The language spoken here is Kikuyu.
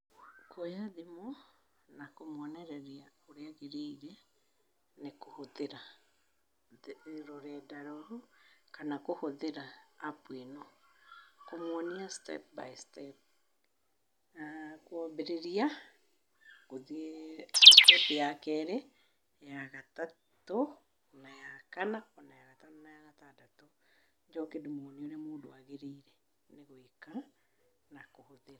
Nguoya thimũ, na kũmũonereria ũrĩa agĩrĩire nĩ kũhũthĩra rũrenda rũu kana kũhũthĩra app ĩno, kũmũonia step by step. Kũambĩrĩria, gũthiĩ step ya kerĩ, ya gatatũ na ya kana ona ya gatano na ya gatandatũ njoke ndĩmuonie ũrĩa mũndũ agĩrĩire nĩ gũĩka na kũhũthĩra.